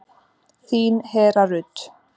Þín Hera Rut.